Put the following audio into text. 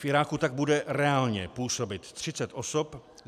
V Iráku tak bude reálně působit 30 osob.